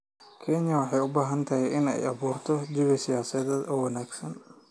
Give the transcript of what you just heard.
Kenya waxay u baahan tahay inay abuurto jawi siyaasadeed oo wanaagsan.